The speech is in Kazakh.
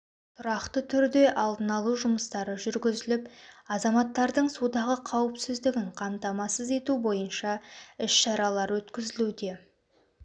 тұрақты түрде алдын алу жұмыстары жүргізіліп азаматтардың судағы қауіпсіздігін қамтамасыз ету бойынша іс шаралар өткізілуде